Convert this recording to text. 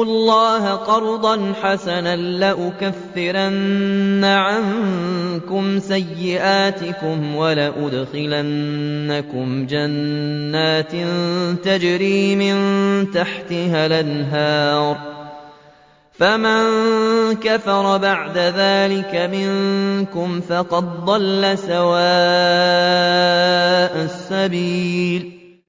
اللَّهَ قَرْضًا حَسَنًا لَّأُكَفِّرَنَّ عَنكُمْ سَيِّئَاتِكُمْ وَلَأُدْخِلَنَّكُمْ جَنَّاتٍ تَجْرِي مِن تَحْتِهَا الْأَنْهَارُ ۚ فَمَن كَفَرَ بَعْدَ ذَٰلِكَ مِنكُمْ فَقَدْ ضَلَّ سَوَاءَ السَّبِيلِ